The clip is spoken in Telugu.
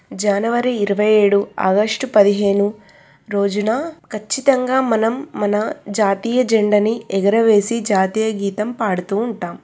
జనవరి ఇరవై ఏడు ఆగస్టు పదిహేను రోజున ఖచ్చితంగా మనం మన జాతీయ జెండని ఎగురవేసి జాతీయ గీతం పాడుతూ ఉంటాం.